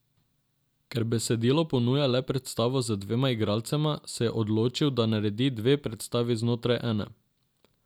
Ker besedilo ponuja le predstavo z dvema igralcema, se je odločil, da naredi dve predstavi znotraj ene.